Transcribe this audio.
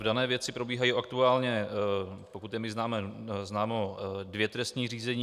V dané věci probíhají aktuálně, pokud je mi známo, dvě trestní řízení.